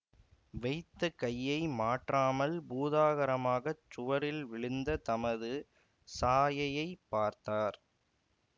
வைத்த கையை மாற்றாமல் பூதாகாரமாகச் சுவரில் விழுந்த தமது சாயையைப் பார்த்தார்